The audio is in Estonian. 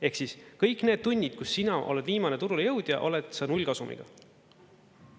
Ehk siis kõik need tunnid, kus sina oled viimane turule jõudja, oled sa nullkasumiga.